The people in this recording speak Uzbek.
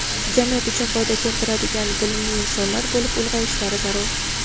jamiyat uchun foyda keltiradigan bilimli insonlar bo‘lib ulg‘ayishlari zarur.